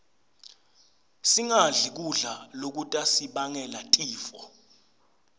singadli kudla lokutasibangela tifo